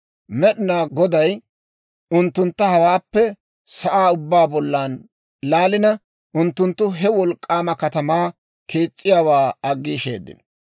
Med'inaa Goday unttuntta hewaappe sa'aa ubbaa bollan laalina, unttunttu he wolk'k'aama katamaa kees's'iyaawaa aggiisheedino.